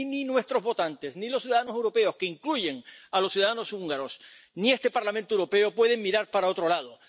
Y ni nuestros votantes, ni los ciudadanos europeos —que incluyen a los ciudadanos húngaros—, ni este Parlamento Europeo pueden mirar para otro lado.